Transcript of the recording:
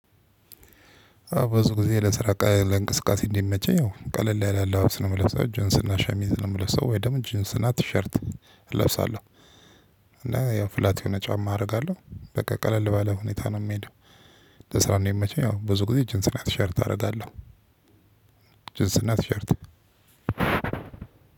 አወ ብዙ ጊዜ ለስራ እንቅስቃሴ እንዲመቸኝ ያው ቀለል ያለ አለባበስ ነው የምለብሰው ጅንስና ሻሚዝ ነው የምለብሰው ወይም ደግሞ ጂንስ ናት ቲሸርት እለብሳለሁ እና ያው ፍላት የሆነ ጫማ አደርጋለሁ። በቃ ቀለል ባለ ሁኔታ ነው የምሄደው። ለስራ እኔ የሚመቸኝ ያው ብዙ ጊዜ ጅንስና ቲሸርት አደርጋለሁ። ጅንስና ናት ሸርት